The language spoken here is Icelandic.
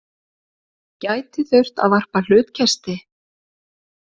Gæti þurft að varpa hlutkesti